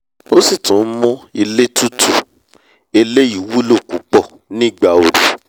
ó sì tún nmú ilé tutù- eléyìí wúlò púpọ̀ ní ìgbà oru